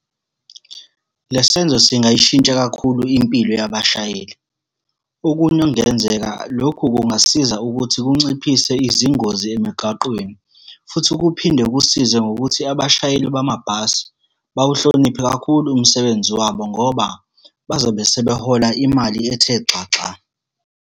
Le senzo singayishintsha kakhulu impilo yabashayeli. Okunye okungenzeka lokhu kungasiza ukuthi kunciphise izingozi emigaqweni, futhi kuphinde kusize ngokuthi abashayeli bamabhasi, bawuhloniphe kakhulu umsebenzi wabo, ngoba bazobe sebehola imali ethe xaxa.